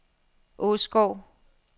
Åskov